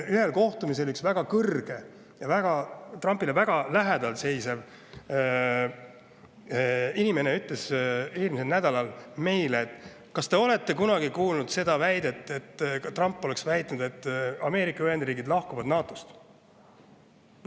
Ühel kohtumisel eelmisel nädalal üks väga kõrge ja Trumpile väga lähedal seisev inimene meilt, kas me oleme kunagi kuulnud, et Trump oleks väitnud, et Ameerika Ühendriigid lahkuvad NATO-st.